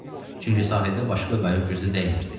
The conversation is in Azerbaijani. Çünki sahildə başqa qayıq gözə dəymirdi.